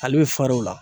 Ale bɛ far'o la